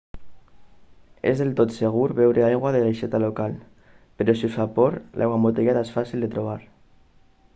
és del tot segur beure aigua de l'aixeta local però si us fa por l'aigua embotellada és fàcil de trobar